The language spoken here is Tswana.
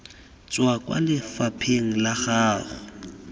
tswa kwa lefapheng la gago